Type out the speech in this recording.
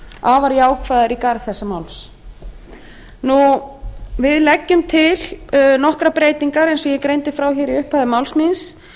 afar jákvæðar í garð þessa máls við leggjum til nokkrar breytingar eins og ég greindi frá í upphafi máls míns